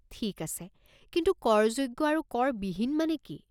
ঠিক আছে কিন্তু কৰযোগ্য আৰু কৰ বিহীন মানে কি?